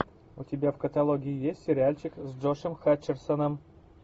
у тебя в каталоге есть сериальчик с джошем хатчерсоном